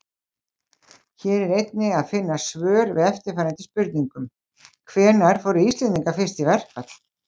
Hér er einnig að finna svör við eftirfarandi spurningum: Hvenær fóru Íslendingar fyrst í verkfall?